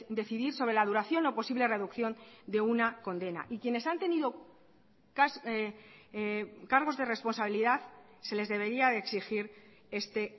decidir sobre la duración o posible reducción de una condena y quienes han tenido cargos de responsabilidad se les debería de exigir este